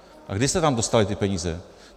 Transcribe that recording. A kdy se tam dostaly ty peníze?